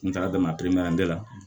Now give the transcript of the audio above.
N taara la